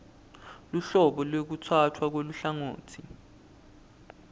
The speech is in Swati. luhlobo lwekutsatfwa kweluhlangotsi